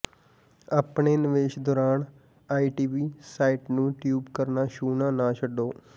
ਆਪਣੇ ਨਿਵੇਸ਼ ਦੌਰਾਨ ਆਈਵੀ ਸਾਈਟ ਨੂੰ ਟਿਊਬ ਕਰਨਾ ਛੂਹਣਾ ਨਾ ਛੱਡੋ